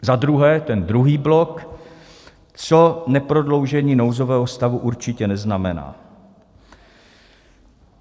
Za druhé, ten druhý blok, co neprodloužení nouzového stavu určitě neznamená.